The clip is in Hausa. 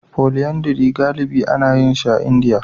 Polyandry galibi ana yin shi a Indiya